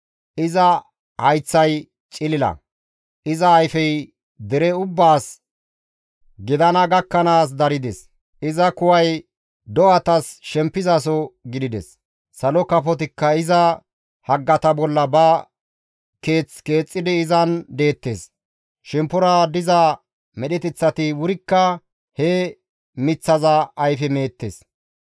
Iza hayththay cilila; iza ayfey dere ubbaas gidana gakkanaas darides; iza kuway do7atas shempizaso gidides; salo kafotikka iza haggata bolla ba keeththa keexxidi izan deettes; shemppora diza medheteththati wurikka he miththaza ayfe meettes.